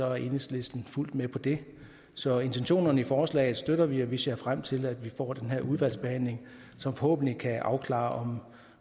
er enhedslisten fuldt ud med på det så intentionerne i forslaget støtter vi og vi ser frem til at vi får den her udvalgsbehandling som forhåbentlig kan afklare